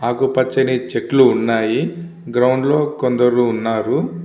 అకుపచని చెట్లు వున్నాయి. గ్రౌండ్ లో కొందరు వున్నారు.